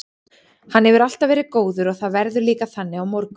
Hann hefur alltaf verið góður og það verður líka þannig á morgun.